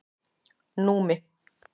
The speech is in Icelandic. Númi